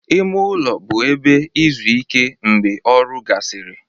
Ime ụlọ bụ ebe izu ike mgbe ọrụ gasịrị